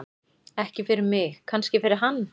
Ekki fyrir mig, kannski fyrir hann.